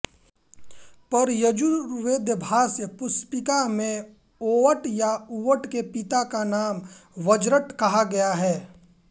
पर यजुर्वेदभाष्य पुष्पिका में औवट या उव्वट के पिता का नाम वज्रट कहा गया है